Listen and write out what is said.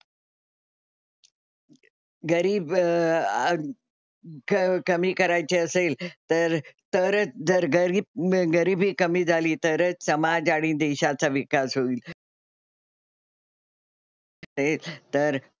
गरीब अं कमी करायची असेल तर तरच जर गरीब गरिबी कमी झाली तरच समाज आणि देशाचा विकास होईल. हेच तर,